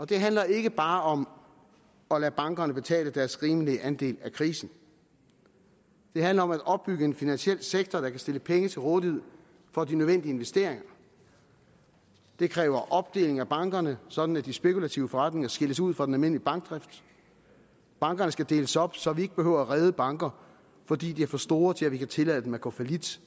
det handler ikke bare om at lade bankerne betale deres rimelige andel af krisen det handler om at opbygge en finansiel sektor der kan stille penge til rådighed for de nødvendige investeringer det kræver opdeling af bankerne sådan at de spekulative forretninger skilles ud fra den almindelige bankdrift bankerne skal deles op så vi ikke behøver redde banker fordi de er for store til at vi kan tillade dem at gå fallit